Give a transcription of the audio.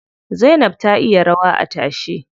Zainab ta iya rawa a tashe.